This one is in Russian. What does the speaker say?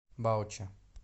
баучи